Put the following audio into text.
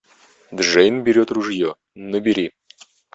джейн берет ружье набери